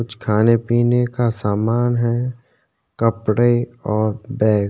कुछ खाने-पीने का सामान है कपड़े और बैग ।